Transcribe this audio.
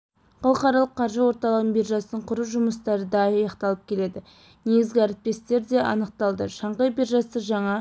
халықаралық қаржы орталығының биржасын құру жұмыстары да аяқталып келеді негізгі әріптестер де анықталды шанхай биржасы жаңа